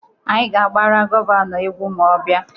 Anyị ga-agbara Gọvanọ egwu ma ọ bịa.